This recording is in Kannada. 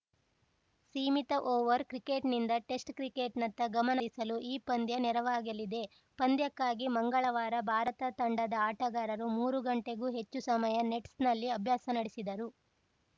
ಸೀಮಿತ ಓವರ್ ಕ್ರಿಕೆಟ್ನಿಂದ ಟೆಸ್ಟ್ ಕ್ರಿಕೆಟ್ ನತ್ತ ಗಮನ ಹರಿಸಲು ಈ ಪಂದ್ಯ ನೆರವಾಗಲಿದೆ ಪಂದ್ಯಕ್ಕಾಗಿ ಮಂಗಳವಾರ ಭಾರತ ತಂಡದ ಆಟಗಾರರು ಮೂರು ಗಂಟೆಗೂ ಹೆಚ್ಚು ಸಮಯ ನೆಟ್ ನಲ್ಲಿ ಅಭ್ಯಾಸ ನಡೆಸಿದರು